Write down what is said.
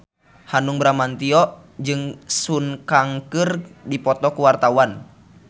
Hanung Bramantyo jeung Sun Kang keur dipoto ku wartawan